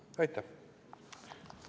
Aitäh!